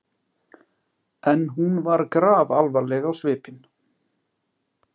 En hún var grafalvarleg á svipinn.